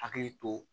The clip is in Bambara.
Hakili to